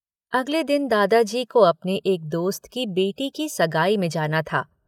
अगले दिन दादाजी को अपने एक दोस्त की बेटी की सगाई में जाना था।